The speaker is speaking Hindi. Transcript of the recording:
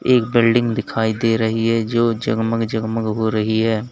एक बिल्डिंग दिखाई दे रही है जो जगमग जगमग हो रही है।